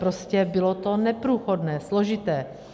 Prostě bylo to neprůchodné, složité.